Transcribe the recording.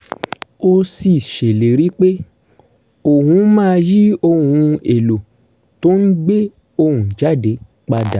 ó sì ṣèlérí pé òun máa yí ohun èlò tó ń gbé ohùn jáde padà